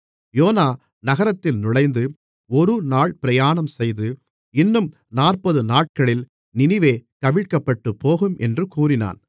YONO நகரத்தில் நுழைந்து ஒரு நாள் பிரயாணம்செய்து இன்னும் நாற்பதுநாட்களில் நினிவே கவிழ்க்கப்பட்டுப்போகும் என்று கூறினான்